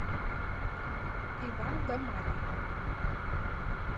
иван да марья